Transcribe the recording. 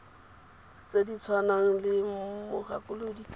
tse di tshwanang le mogakolodi